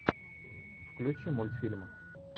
включи мультфильмы